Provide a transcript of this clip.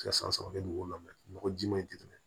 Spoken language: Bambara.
Ka san sɔrɔ kɛ dugu wo la nɔgɔ ji ma ye